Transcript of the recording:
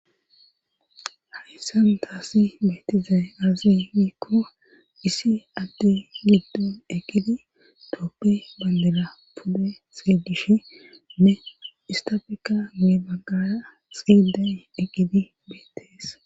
lahissantaasi beetizay aazi nikko issi addi ligido eqqidi toppi bandela pudde seedishe ne istofika nue baggaa xiiday eqqidi beettees.